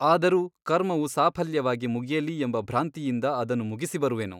ಆದರೂ ಕರ್ಮವು ಸಾಫಲ್ಯವಾಗಿ ಮುಗಿಯಲಿ ಎಂಬ ಭ್ರಾಂತಿಯಿಂದ ಅದನ್ನು ಮುಗಿಸಿ ಬರುವೆನು.